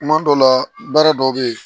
Kuma dɔ la baara dɔw bɛ yen